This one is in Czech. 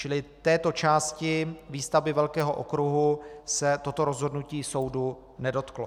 Čili této části výstavby velkého okruhu se toto rozhodnutí soudu nedotklo.